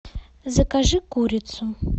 закажи курицу